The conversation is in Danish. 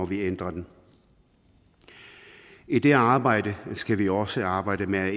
vi ændrer den i det arbejde skal vi også arbejde med at